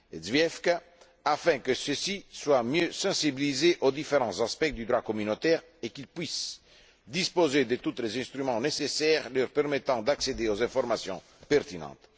Zwiefka, afin que ceux ci soient mieux sensibilisés aux différents aspects du droit communautaire et qu'ils puissent disposer de tous les instruments nécessaires leur permettant d'accéder aux informations pertinentes.